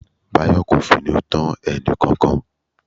Bayo kò finú tán ẹnìkankan.